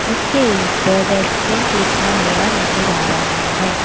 इसके ऊपर रेस्टोरेंट लिखा हुआ नज़र आ रहा है।